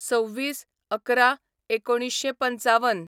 २६/११/१९५५